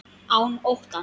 Án óttans.